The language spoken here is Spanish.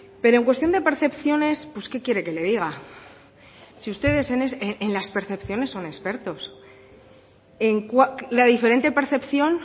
pero en cuestión de percepciones pues qué quiere que le diga si ustedes en las percepciones son expertos la diferente percepción